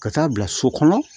Ka taa bila so kɔnɔ